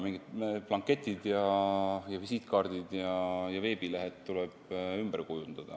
Mingid blanketid, visiitkaardid ja veebilehed tuleb ümber kujundada.